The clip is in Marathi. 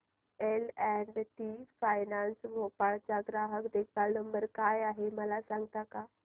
L and T finance Bhopal चा ग्राहक देखभाल नंबर काय आहे मला सांगता का